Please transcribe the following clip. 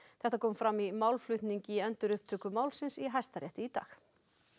þetta kom fram í málflutningi í endurupptöku málsins í Hæstarétti í dag